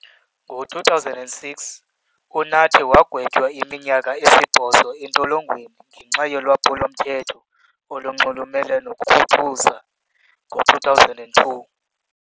Ngo-2006, uNathi wagwetywa iminyaka esibhozo entolongweni ngenxa yolwaphulo-mthetho olunxulumene nokukhuthuza ngo-2002.